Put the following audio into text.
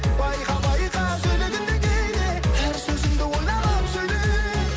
байқа байқа сөйлегенде кейде әр сөзіңді ойланып сөйле